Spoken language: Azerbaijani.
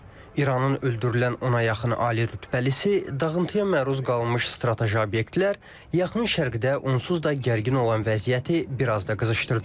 İranın öldürülən ona yaxın ali rütbəlisisi, dağıntıya məruz qalmış strateji obyektlər, yaxın şərqdə onsuz da gərgin olan vəziyyəti biraz da qızışdırdı.